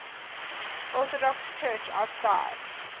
orthodox church outside